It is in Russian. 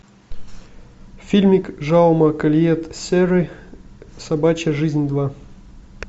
фильмик жауме кольет серры собачья жизнь два